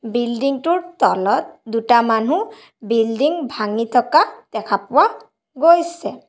Building টোৰ তলত দুটা মানুহ বিল্ডিং ভাগি থকা দেখা পোৱা গৈছে।